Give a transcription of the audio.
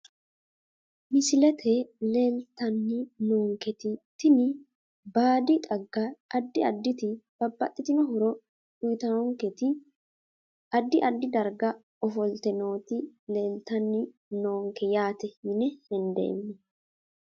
Misilete leeltani noonketitini baadi xagga adi aditi babaxitino horo uyitawonketi adi adi darga ofolte nooti leeltani noonke yaate yine hendemo.